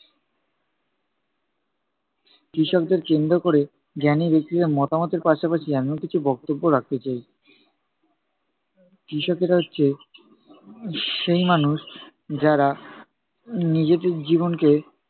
কৃষকদের কেন্দ্র ক'রে জ্ঞানী ব্যাক্তিদের মতামতের পাশাপাশি আমিও কিছু বক্তব্য রাখতে চাই। কৃষকেরা হচ্ছে সেই মানুষ যারা নিজেদের জীবনকে